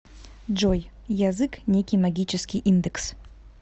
джой язык некий магический индекс